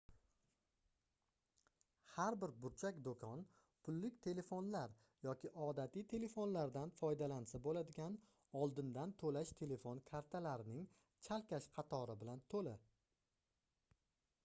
har bir burchak doʻkon pullik telefonlar yoki odatiy telefonlardan foydalansa boʻladigan oldindan toʻlash telefon kartalarining chalkash qatori bilan toʻla